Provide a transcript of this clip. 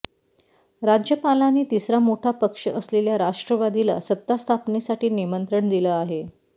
राज्यपालांनी तिसरा मोठा पक्ष असलेल्या राष्ट्रवादीला सत्तास्थापनेसाठी निमंत्रण दिलं आहे